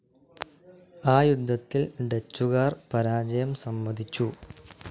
ആ യുദ്ധത്തിൽ ഡച്ചുകാർ പരാജയം സമ്മതിച്ചു.